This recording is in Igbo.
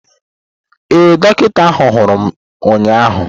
Ee, dọkịta anya hụrụ m ụnyahụ.